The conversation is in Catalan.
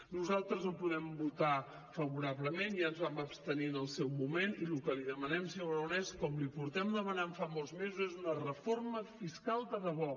nosaltres no hi podem votar favorablement ja ens vam abstenir en el seu moment i lo que li demanem senyor aragonès com li portem demanant fa molts mesos és una reforma fiscal de debò